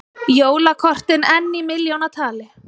Jólakortin enn í milljónatali